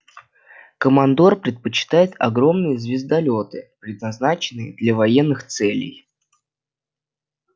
командор предпочитает огромные звездолёты предназначенные для военных целей